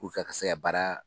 Puruke a ka se ka baara